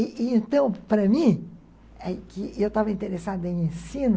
E, e então, para mim, que eu estava interessada em ensino,